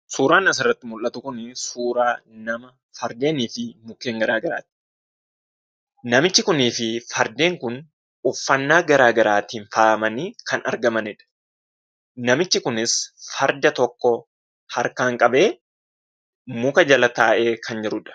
Suuraan asirratti mul'atu kun, suuraa nama Fardeenii fi mukkeen garaagaraadha. Namichi kunii fi Fardeen Kun, uffannaa garaagaraatiin faayamanii kan argamanidha. Namichi kunis Farda tokko harkaan qabee muka jala taa'ee kan jirudha.